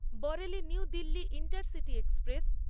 Bareilly New Delhi intercity express